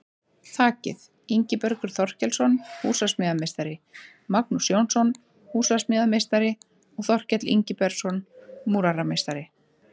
Þakið: Ingibergur Þorkelsson, húsasmíðameistari, Magnús Jónsson, húsasmíðameistari og Þorkell Ingibergsson, múrarameistari.